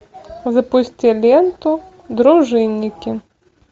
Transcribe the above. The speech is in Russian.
запусти ленту дружинники